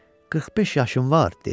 "45 yaşım var", dedi.